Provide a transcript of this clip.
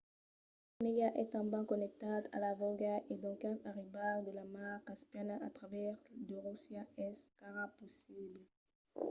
lo lac onega es tanben connectat a vòlga e doncas arribar de la mar caspiana a travèrs de russia es encara possible